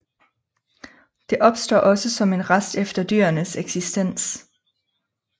Det opstår også som en rest efter dyrenes eksistens